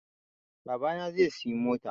Babana zai siya mota